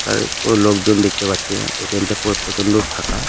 আ কোনো লোকজন দেখতে পাচ্ছি না এ.টি.এম. টা পুরো প্রচন্ড ফাঁকা।